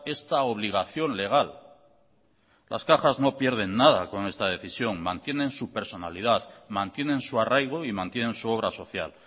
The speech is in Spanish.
esta obligación legal las cajas no pierden nada con esta decisión mantienen su personalidad mantienen su arraigo y mantienen su obra social